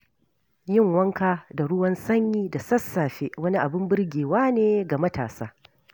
Yin wanka da ruwan sanyi da sassafe, wani abin birgewa ne ga matasa.